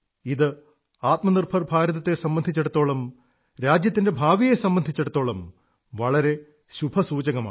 ഇത് ആത്മനിർഭർ ഭാരതത്തെ സംബന്ധിച്ചിടത്തോളം രാജ്യത്തിന്റെ ഭാവിയെ സംബന്ധിച്ചിടത്തോളം വളരെ ശുഭസൂചകമാണ്